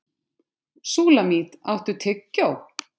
Súlamít, áttu tyggjó?